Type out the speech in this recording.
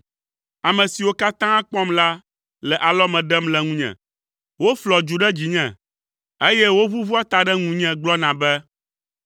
Ame siwo katã kpɔm la ɖe alɔme le ŋunye; woflɔa dzu ɖe dzinye, eye woʋuʋua ta ɖe ŋunye gblɔna be: